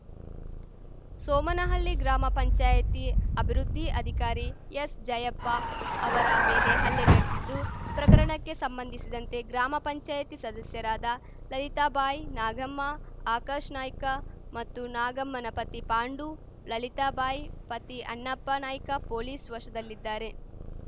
ಸೋಮನಹಲ್ಲಿ ಗ್ರಾಮ ಪಂಚಾಯ್ತಿ ಅಭಿವೃದ್ಧಿ ಅಧಿಕಾರಿ ಎಸ್‌ ಜಯಪ್ಪ ಅವರ ಮೇಲೆ ಹಲ್ಲೆ ನಡೆದಿದ್ದು ಪ್ರಕರಣಕ್ಕೆ ಸಂಬಂಧಿಸಿದಂತೆ ಗ್ರಾಮ ಪಂಚಾಯಿತಿ ಸದಸ್ಯರಾದ ಲಲಿತಾಬಾಯಿ ನಾಗಮ್ಮ ಆಕಾಶ್‌ ನಾಯ್ಕ ಮತ್ತು ನಾಗಮ್ಮನ ಪತಿ ಪಾಂಡು ಲಲಿತಾ ಬಾಯಿ ಪತಿ ಅಣ್ಣಪ್ಪ ನಾಯ್ಕ ಪೊಲೀಸ್‌ ವಶದಲ್ಲಿದ್ದಾರೆ